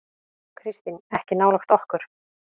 Kristín: Ekki nálægt okkur.